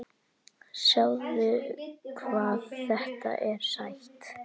Sjáðu hvað þetta er sætt?